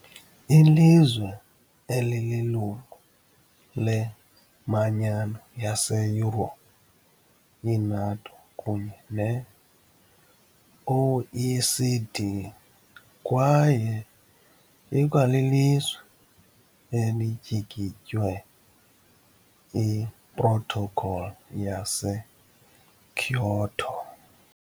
ilizwe elililungu leManyano yaseYurophu, i-NATO kunye ne- OECD kwaye ikwalilizwe elityikitye iProtocol yaseKyoto .